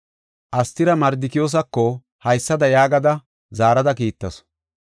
Astira Mardikiyoosako haysada yaagada zaarada kiittasu;